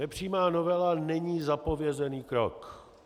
Nepřímá novela není zapovězený krok.